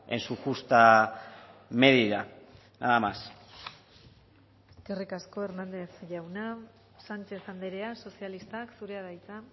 en su justa medida nada más eskerrik asko hernández jauna sánchez andrea sozialistak zurea da hitza